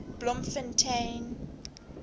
bloemfontein